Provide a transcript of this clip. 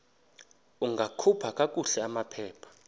ungakhupha kakuhle amaphepha